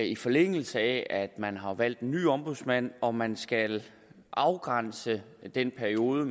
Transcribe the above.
i forlængelse af at man har valgt en ny ombudsmand har om man skal afgrænse den periode